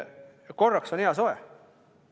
Korraks on hea soe.